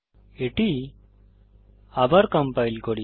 এটি আবার কম্পাইল করি